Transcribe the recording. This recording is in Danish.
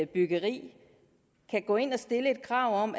byggeri kan gå ind og stille et krav om